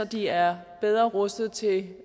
de er bedre rustet til